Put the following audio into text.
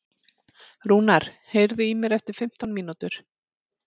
Rúnar, heyrðu í mér eftir fimmtán mínútur.